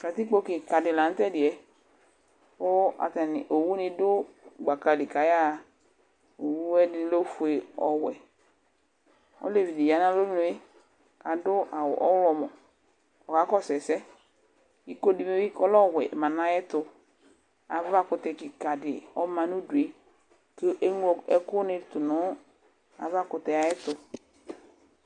Katikpo kika la nutɛdɩƴɛ Ku owʊ nidʊ gbakali kayaya Owʊ ɛdi lɛ ofʊe, ɔwɛ Olevidi ya nalonue kadʊ awʊ ɔwlɔmɔ kɔkakɔsu ɛsɛ Iko dibi lɛ ɔwɛ ma nayɛtu Avakʊtɛ kikadi ɔma nʊdue keglo ɛkʊ nɩtʊ avakutɛ ayɛtʊ